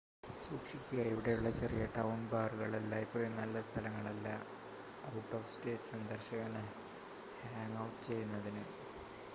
സൂക്ഷിക്കുക ഇവിടെയുള്ള ചെറിയ-ടൗൺ ബാറുകൾ എല്ലായ്പ്പോഴും നല്ല സ്ഥലങ്ങളല്ല ഔട്ട്-ഓഫ്-സ്റ്റേറ്റ് സന്ദർശകന് ഹാംഗ് ഔട്ട് ചെയ്യുന്നതിന്